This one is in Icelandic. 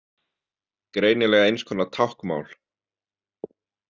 Greinilega eins konar táknmál.